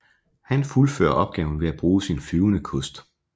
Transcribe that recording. Han fuldfører opgaven ved at bruge sin flyvende kost